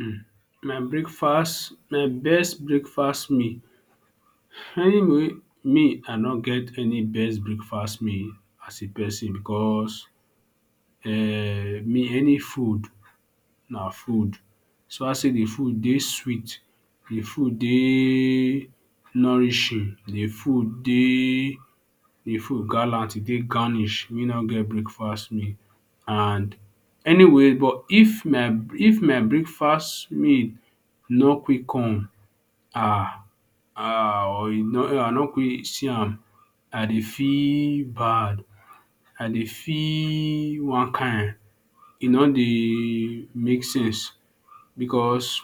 um My breakfast, my best breakfast meal. Anyway me I no get any best breakfast meal as a person because um me any food na food, so far sey de food dey sweet, de food dey nourishing. De food dey de food gallant, e dey garnish. Me don get breakfast meal and anyway but if my if my breakfast meal no quick come um or I no quick see am, I dey feel bad, I dey feel one kain. E no dey make sense because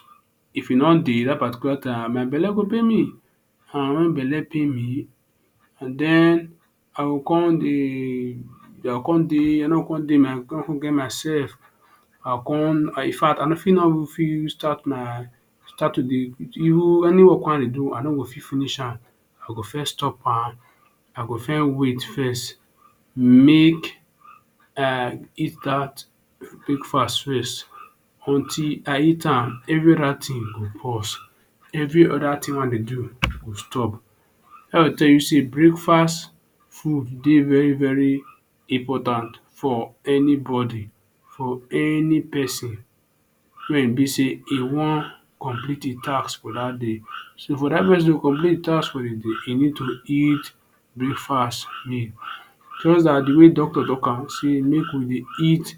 if e no dey hungry dat particular time my belle go pain me and wen belle pain me, and den I go come dey I go come dey no get myself. I come in fact I fit no even start my start to dey even any work wey I dey do, I no go con finish am. I go first stop am, I go first wait first make um eat dat breakfast first. Until I eat am, every other thing go pause, every other thing wey I dey do go stop. Dats to tell you sey breakfast food dey very very important for anybody, for any pesin. Wey e be sey e wan complete de task for dat day. So for dat pesin to complete im task for de day, e need to eat breakfast meal jus like de way doctor talk am say make we dey eat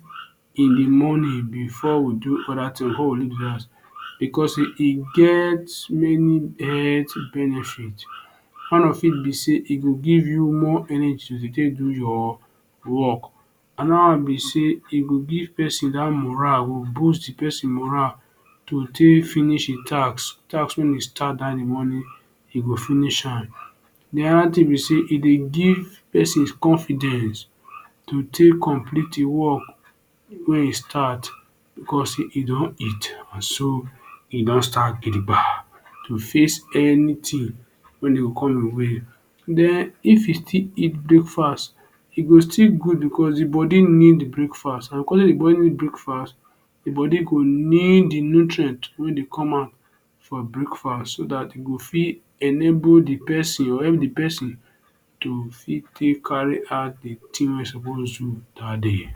in the morning before we do other thing, before we leave de house because e get many health benefit. One of it be sey e go give you more energy to take do your work. Another one be sey e go give pesin dat morale, go boost de pesin morale to take finish im task, task wey im start dat im morning, e go finish am. Another thing be sey e dey give person confidence to take complete e work wey e start because you don eat, and so e don start gidigba to face anything wey dey come your way. Den if you still eat breakfast, e go still good because de body need breakfast, because de body need breakfast, de body go need de nutrient wey dey come out from breakfast so dat e go fit enable de pesin or help de pesin to fit take carry out de thing wey e suppose do dat day.